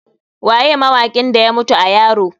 Waye mawakin da ya mutu a yaro?